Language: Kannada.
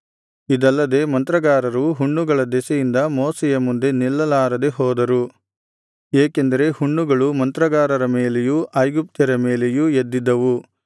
ಇದಲ್ಲದೆ ಮಂತ್ರಗಾರರು ಹುಣ್ಣುಗಳ ದೆಸೆಯಿಂದ ಮೋಶೆಯ ಮುಂದೆ ನಿಲ್ಲಲಾರದೆ ಹೋದರು ಏಕೆಂದರೆ ಹುಣ್ಣುಗಳು ಮಂತ್ರಗಾರರ ಮೇಲೆಯೂ ಐಗುಪ್ತ್ಯರ ಮೇಲೆಯೂ ಎದ್ದಿದ್ದವು